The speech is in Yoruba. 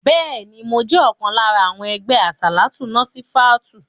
Bẹ́ẹ̀ni, mo jẹ́ ọ̀kan lára àwọn ẹgbẹ́ àsàlátù Násífátùù.